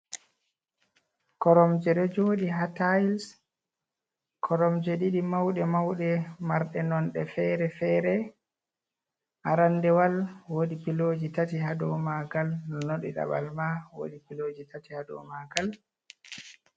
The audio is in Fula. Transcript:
Koromje do jodi ha tils. koromje ɗiɗi mauɗe-mauɗe marde nonde fere-fere. Arandewol wodi piloji tati ha ɗau magal, nono di dabal ma wodi piloji tati ha dau magal.